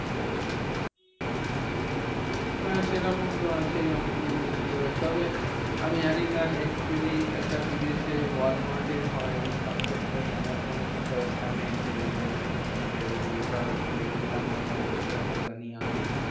হ্যাঁ সেরকম তো আছেই অনেকেই use করে। তবে আমি জানিনা actually এটা বিদেশে ওয়ালমার্টে হয় এই concept টাই। আমাজনই তো first আনে যে fifteen days return মানে এই return এর concept টা আমাজনই আনে।